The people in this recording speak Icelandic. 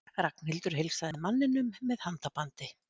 Ragnhildur heilsaði manninum með handabandi.